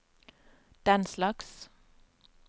denslags